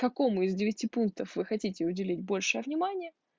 какому из девяти пунктов вы хотите уделить большее внимание